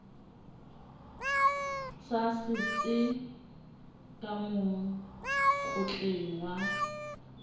sa setse ka mokotleng wa